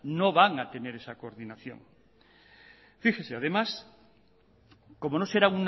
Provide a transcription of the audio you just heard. no van a tener esa coordinación fíjese además como no será